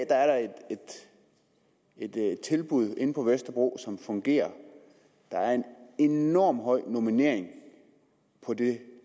er der et tilbud inde på vesterbro som fungerer der er en enormt høj normering på det